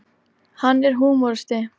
Hann er húmoristi.